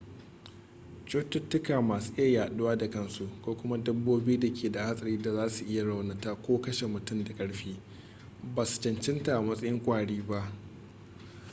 cututuka masu iya yaduwa da kansu ko kuma dabbobi da ke da hatsari da za su iya raunatawa ko kashe mutane da karfi ba su cancanta a matsayin kwari ba